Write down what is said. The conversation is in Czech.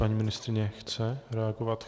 Paní ministryně chce reagovat?